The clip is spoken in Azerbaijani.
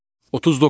39.